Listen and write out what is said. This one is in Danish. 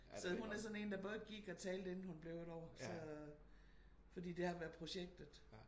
Så hun er sådan en der både gik og talte inden hun blev et år så fordi det var været projektet